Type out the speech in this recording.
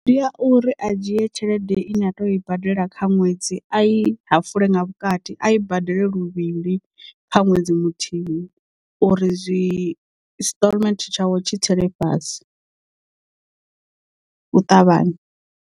Ndi ya uri a dzhie tshelede i ne a teyo i badela kha ṅwedzi a i hafule nga vhukati a i badele luvhili kha ṅwedzi muthihi uri zwi stallment tshawe tshi tsele fhasi u ṱavhanya.